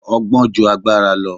Ọgbọ́n ju agbára lọ